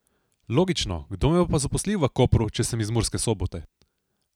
Logično, kdo me bo pa zaposlil v Kopru, če sem pa iz Murske Sobote?